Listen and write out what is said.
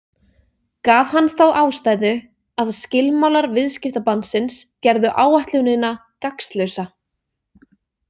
Gaf hann þá ástæðu að skilmálar viðskiptabannsins gerðu áætlunina gagnslausa.